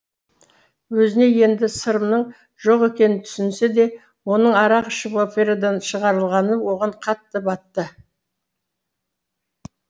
өзіне енді сырымның жоқ екенін түсінсе де оның арақ ішіп операдан шығарылғаны оған қатты батты